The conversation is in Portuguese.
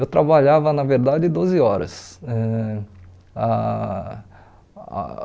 Eu trabalhava na verdade doze horas, ãh ah ah